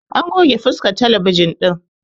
An goge fuskan talabijin ɗin